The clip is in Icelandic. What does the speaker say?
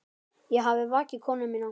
Ég hafði vakið konu mína.